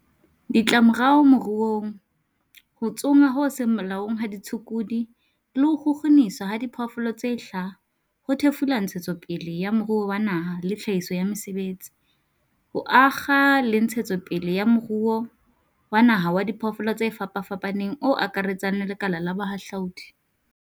Ditlamorao moruong Ho tsongwa ho seng molaong ha ditshukudu le ho kgukguniswa ha diphoofolo tse hlaha ho thefula ntshetsopele ya moruo wa naha le tlhahiso ya mesebetsi, ho akga le ntshetsopele ya moruo wa naha wa diphoofolo tse fapafapaneng o akaretsang le lekala la bohahlaudi.